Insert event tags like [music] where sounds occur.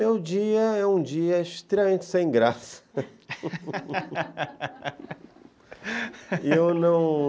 É um dia é um dia extremamente sem graça [laughs] e eu não